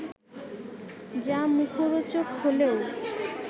যা মুখরোচক হলেও